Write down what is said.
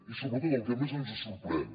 i sobretot el que més ens sorprèn